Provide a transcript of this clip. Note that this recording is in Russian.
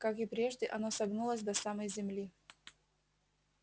как и прежде оно согнулось до самой земли